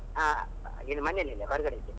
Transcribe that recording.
ಹಾ, ಮನೆಯಲ್ಲಿ ಇಲ್ಲ ಹೊರಗಡೆ ಇದ್ದೀನಿ.